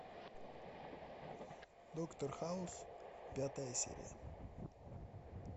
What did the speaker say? доктор хаус пятая серия